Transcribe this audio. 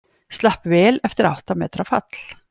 Slapp vel eftir átta metra fall